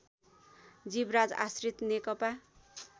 Jivraj Ashrit Nekapa